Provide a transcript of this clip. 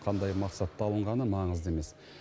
қандай мақсатта алынғаны маңызды емес